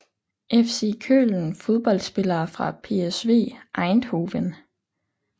FC Köln Fodboldspillere fra PSV Eindhoven